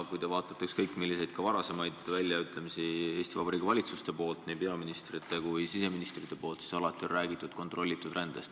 Kui te vaatate ükskõik milliseid väljaütlemisi varasemate Eesti Vabariigi valitsuste poolt, nii peaministrite kui ka siseministrite poolt, siis alati on räägitud kontrollitud rändest.